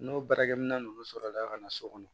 N'o baarakɛminɛn ninnu sɔrɔla ka na so kɔnɔ